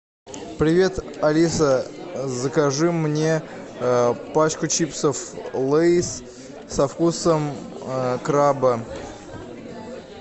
привет алиса закажи мне пачку чипсов лейс со вкусом краба